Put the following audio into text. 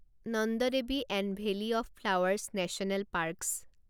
Nanda Devi and valley of flowers national parks